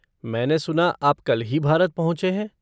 मैंने सुना आप कल ही भारत पहुँचे हैं।